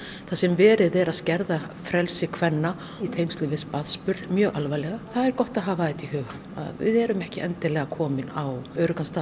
þar sem verið er að skerða frelsi kvenna í tengslum við barnsburð mjög alvarlega það er gott að hafa þetta í huga að við erum ekki endilega komin á öruggan stað